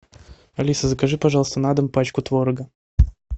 алиса закажи пожалуйста на дом пачку творога